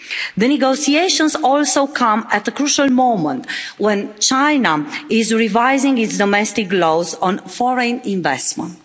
The negotiations also come at a crucial moment when China is revising its domestic laws on foreign investment.